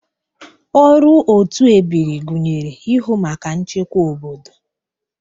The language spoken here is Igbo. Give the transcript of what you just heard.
Ọrụ otu ebiri gụnyere ịhụ maka nchekwa obodo.